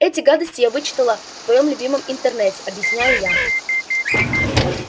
эти гадости я вычитала в твоём любимом интернете объясняю я